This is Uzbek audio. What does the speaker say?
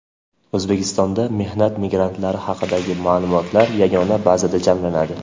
O‘zbekistonda mehnat migrantlari haqidagi ma’lumotlar yagona bazada jamlanadi.